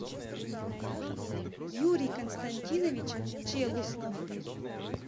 юрий константинович челуснов